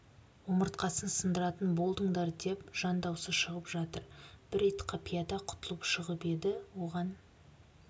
омыртқасын сындыратын болдыңдар деп жан даусы шығып жатыр бір ит қапияда құтылып шығып еді оған